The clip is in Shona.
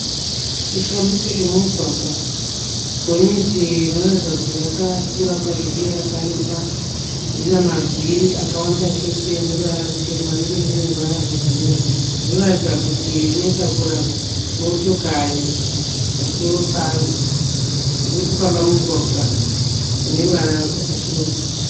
Chifambiso chemumugwagwa. Gonyeti rinoratidza kuti rakakura kwazvo uye rakareba rine mavhiri akawanda chose ane ruvara rutema iro rine ruvara rwebhuruwu. Rinoratidza kuti rinotakura motokari pamusoro paro. Ririkufamba mumugwagwa une ruvara rwakachechenuruka